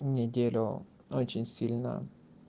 неделю очень сильно